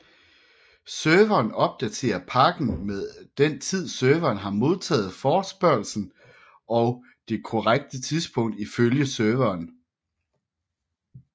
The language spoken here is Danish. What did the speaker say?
Serveren opdaterer pakken med den tid serveren har modtaget forespørgslen og det korrekte tidspunkt ifølge serveren